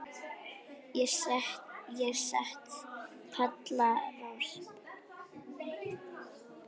Ég set Palla Rós.